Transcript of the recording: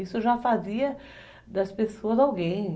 Isso já fazia das pessoas alguém.